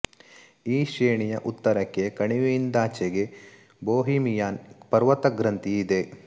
ಈ ಶ್ರೇಣಿಯ ಉತ್ತರಕ್ಕೆ ಕಣಿವೆಯಿಂದಾಚೆಗೆ ಬೊಹಿಮಿಯನ್ ಪರ್ವತ ಗ್ರಂಥಿ ಇದೆ